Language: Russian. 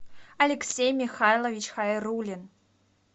алексей михайлович хайрулин